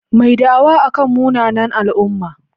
Mai da'awa akan munanan al'umma.